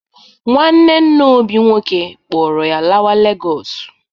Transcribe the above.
Nwanne nna Obi nwoke kpọrọ ya lawa Legọsụ.